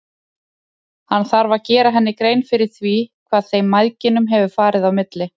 Hann þarf að gera henni grein fyrir því hvað þeim mæðginum hefur farið á milli.